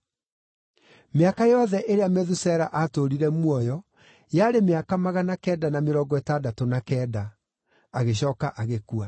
Mĩaka yothe ĩrĩa Methusela aatũũrire muoyo yarĩ mĩaka magana kenda na mĩrongo ĩtandatũ na kenda, agĩcooka agĩkua.